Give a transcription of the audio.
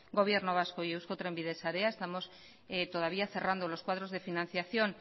gobierno vasco y eusko trenbide sarea estamos todavía cerrando los cuadros de financiación